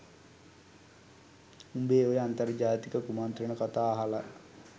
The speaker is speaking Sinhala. උඹේ ඔය අන්තර්ජාතික කුමන්ත්‍රණ කතා අහලා